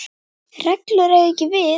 reglur eiga ekki við.